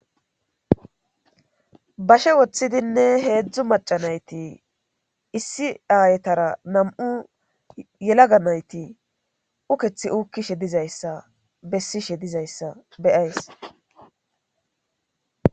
bashe woththidinne heedzdzu macanayti issi aayetara nam7u yelaga nayti ukethi uukkishe dizayssa bessishe dizayssa beyays